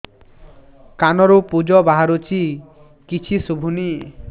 କାନରୁ ପୂଜ ବାହାରୁଛି କିଛି ଶୁଭୁନି